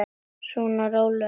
Svona, rólegur nú.